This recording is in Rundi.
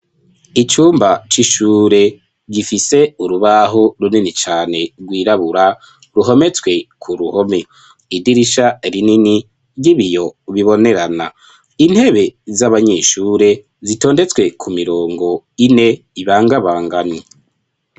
Icumba c'ishure gifise urubaho runini cane rwirabura ruhometswe ku ruhome idirisha rinini ry'ibiyo ubibonerana intebe z'abanyishure zitondetswe ku mirongo ine ibangabangani.